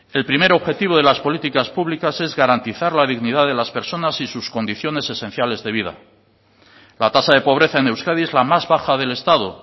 el primer objetivo de las políticas públicas es garantizar la dignidad de las personas y sus condiciones esenciales de vida la tasa de pobreza en euskadi es la más baja del estado